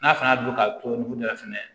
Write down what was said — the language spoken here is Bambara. N'a fana y'a don ka to nun na fɛnɛ